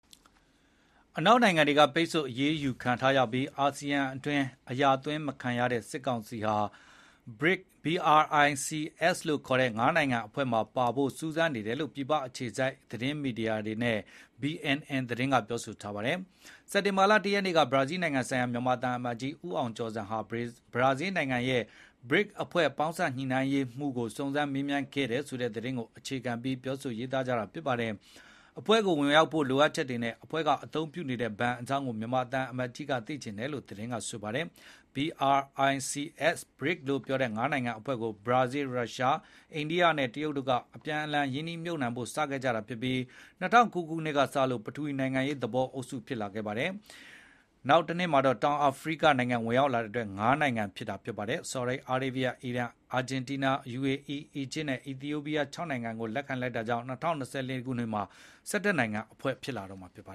အနောက်နိုင်ငံတွေက ပိတ်ဆို့ အရေးယူခံထားရပြီး အာဆီယံအတွင်း အရာသွင်းမခံရတဲ့ စစ်ကောင်စီဟာ BRICS လို့ခေါ်တဲ့ ငါးနိုင်ငံအဖွဲ့မှာပါနိုင်ဖို့ စူးစမ်းနေတယ် လို့ ပြည်ပအခြေစိုက် မြန်မာမီဒီယာတွေနဲ့ BNN သတင်းကဆိုပါတယ်။ စက်တင်ဘာလ ၁ ရက်က ဘရာဇီးနိုင်ငံဆိုင်ရာ မြန်မာသံအမတ်ကြီး ဦးအောင်ကျော်ဇံဟာ ဘရာဇီးနိုင်ငံရဲ့ ဘရစ်အဖွဲ့ ပေါင်းစပ်ညှိနှိုင်းရေးမှူးကို စုံစမ်း မေးမြန်းခဲ့တယ်ဆိုတဲ့သတင်းကိုအခြေခံပြီး ပြောကြတာပါ။ အဖွဲ့ကိုဝင်ရောက်ဖို့ လိုအပ်ချက်တွေနဲ့ အဖွဲ့ကအသုံးပြုနေတဲ့ဘဏ်အကြောင်းကို မြန်မာသံအမတ်ကြီးက သိချင်ခဲ့တယ်လို့ သတင်းကဆိုပါတယ်။ BRICS လို့ပြောတဲ့ ငါးနိုင်ငံအဖွဲ့ကို ဘရာဇီး၊ ရုရှား၊ အိန္ဒိယနဲ့တရုတ်တို့က အပြန်အလှန် ရင်းနှီးမြှုပ်နှံဖို့စခဲ့ကြပြီး ၂၀၀၉ က စလို့ ပထဝီနိုင်ငံရေးသဘော အုပ်စု ဖြစ်လာခဲ့တာပါ။ နောက်တနှစ်မှာ တောင်အာဖရိက ဝင်ရောက်လာခဲ့တဲ့အတွက် ၅ နိုင်ငံ အဖွဲ့ ဖြစ်လာပါတယ်။ ဆော်ဒီအာရေဗျ၊ အီရန်၊ အာဂျင်တီးနား၊ ယူအေအီး၊ အီဂျစ်နဲ့ အီသီယိုပီးယား ၆ နိုင်ငံ ကို လက်ခံလိုက်တာကြောင့် ၂၀၂၄ မှာ ၁၁ နိုင်ငံ အဖွဲ့ ဖြစ်လာတော့မှာပါ